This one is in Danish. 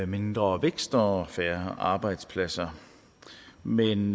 mindre vækst og færre arbejdspladser men